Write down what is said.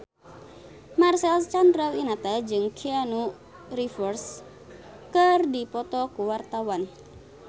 Marcel Chandrawinata jeung Keanu Reeves keur dipoto ku wartawan